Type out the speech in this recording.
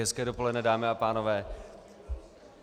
Hezké dopoledne, dámy a pánové.